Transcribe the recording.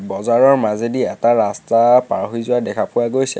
বজাৰৰ মাজেদি এটা ৰাস্তা পাৰ হৈ যোৱা দেখা পোৱা গৈছে।